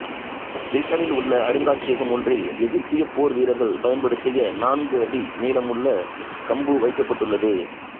பிரிட்டனில் உள்ள அருங்காட்சியகம் ஒன்றில் எகிப்திய போர் வீரர்கள் பயன்படுத்திய நான்கு அடி நீளமுள்ள கம்பு வைக்கப்பட்டுள்ளது